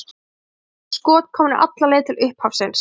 Við erum eins og skot komnir alla leið til upphafsins.